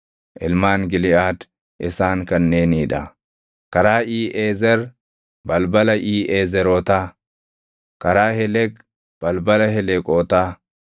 Ilmaan Giliʼaad isaan kanneenii dha: karaa Iiʼezer, balbala Iiʼezerootaa; karaa Heleq, balbala Heleqootaa;